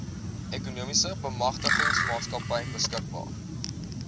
ekonomiese bemagtigingsmaatskappy beskikbaar